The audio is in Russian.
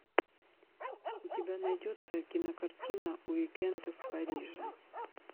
у тебя найдется кино картина уикенд в париже